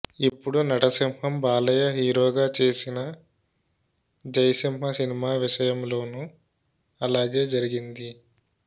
ఇప్పుడు నటసింహం బాలయ్య హీరోగా చేసిన జైసింహా సినిమా విషయంలోనూ అలాగే జరిగింది